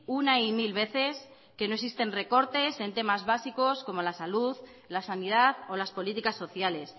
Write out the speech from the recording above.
una y mil veces que no existen recortes en temas básico como la salud la sanidad o las políticas sociales